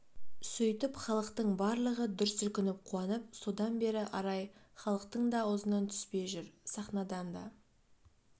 сөйтіп халықтың барлығы дүрсілкініп қуанып содан бері арай халықтың да аузынан түспей жүр сахнадан да